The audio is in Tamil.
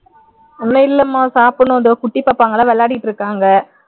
இன்னும் இல்லைமா சாப்பிடணும் இதோ குட்டிப்பாப்பாங்க விளையாடிட்டு இருக்காங்க